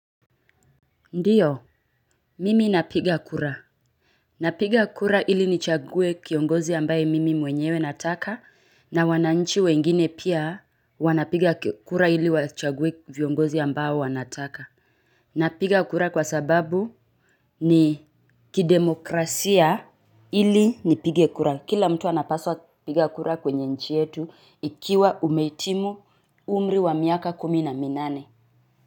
Ndiyo, mimi napiga kura. Napiga kura ili nichague kiongozi ambaye mimi mwenyewe nataka na wananchi wengine pia wanapiga kura ili wachague viongozi ambao wanataka. Napiga kura kwa sababu ni kidemokrasia ili nipige kura. Kila mtu anapaswa kupiga kura kwenye nchi yetu ikiwa umehitimu umri wa miaka kumi na minane.